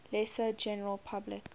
lesser general public